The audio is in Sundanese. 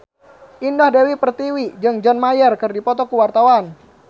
Indah Dewi Pertiwi jeung John Mayer keur dipoto ku wartawan